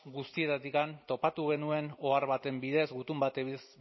guztietatik topatu genuen ohar baten bidez gutun